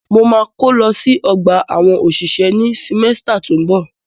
Mo ma kó lọ sí ọgbà àwọn òṣìṣẹ́ ní símẹ́stà tó ń bọ̀.